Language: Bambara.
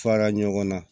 Fara ɲɔgɔnna